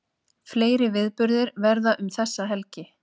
Fleiri viðburðir verða um þessa helgi